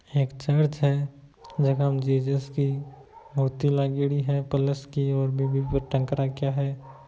ये चर्च है जहा हम जहा जीजस की मूर्ति लगी हुए है प्लस की उष पे टैंक रखे है।